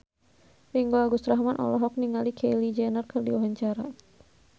Ringgo Agus Rahman olohok ningali Kylie Jenner keur diwawancara